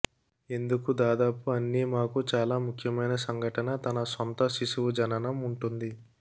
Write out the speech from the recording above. ఎందుకు దాదాపు అన్ని మాకు చాలా ముఖ్యమైన సంఘటన తన సొంత శిశువు జననం ఉంటుంది